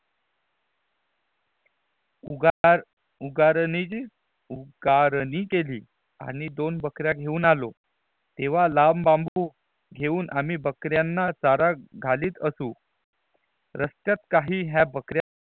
उगार उगर्नेजी उगरनी केली आणि दोन बकरिया घेऊन आलो तेहवा लांब बाम्बू घेऊन आम्ही बकरियाना चारा घालित असू रस्त्यात काही ह्या बकरिया